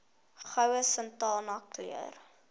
goue sultana keur